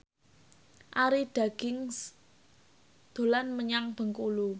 Arie Daginks dolan menyang Bengkulu